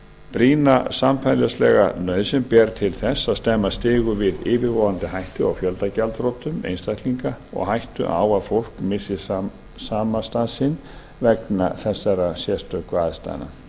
brýna samfélagslega nauðsyn ber til þess að stemma stigu við yfirvofandi hættu á fjöldagjaldþrotum einstaklinga og hættu á að fólk missi samastað sinn vegna þessara sérstöku aðstæðna